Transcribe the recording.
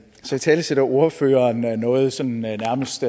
så italesætter ordføreren noget sådan nærmest